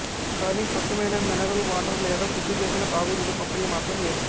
కానీ స్వచ్చమైన mineral water లేదా శుద్ది చేసిన తాగునీటి పంపిణీ మాత్రం లేదు